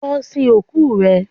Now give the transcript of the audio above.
Lọ sin òkú rẹ